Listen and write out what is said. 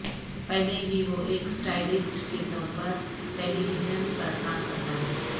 پہلے ہی وہ ایک سٹائلسٹ کے طور پر ٹیلی ویژن پر کام کرتا ہے